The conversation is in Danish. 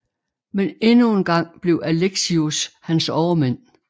Men endnu en gang blev Alexius hans overmand